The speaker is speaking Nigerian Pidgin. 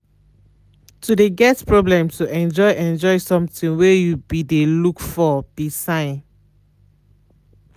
to de get problem to enjoy enjoy something wey you be de looked for be sign.